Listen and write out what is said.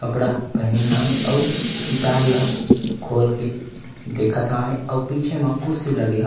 कपडा पहिं हवे अउ किताब ला खोल के देखत हवे अउ पीछे म कुर्सी लगे ह --